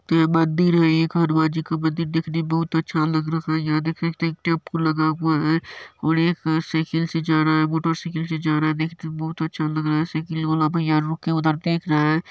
यह मंदील है एक हनुमान जी का मंदील देखने मे बहुत अच्छा लग रहा है यहां देख सकते एक टेम्पो लगा हुआ है और एक साइकिल से जा रहा है मोटरसाइकिल से जा रहा है देखने मे बहुत अच्छ लग रहा है साइकिल वाला भईया रुक के उधर देख रहा है।